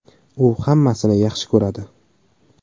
U hammasini yaxshi ko‘radi.